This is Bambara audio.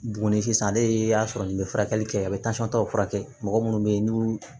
Buguni sisan n'i y'a sɔrɔ n'i bɛ furakɛli kɛ a bɛ tansɔn ta furakɛ mɔgɔ minnu bɛ yen n'u